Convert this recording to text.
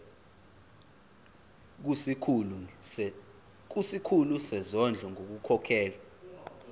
kusikhulu sezondlo ngokukhokhela